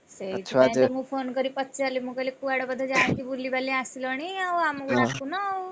ହଁ ପା ସେଥିପାଇଁ ମୁଁ phone କରି ପଚାରିଲି, ମୁଁ କହିଲି କୁଆଡେ ବୋଧେ ଯାଇଛ ବୁଲିବାଲି ଆସିଲଣି ଆଉ ଆମକୁ ଡାକିନ ଆଉ,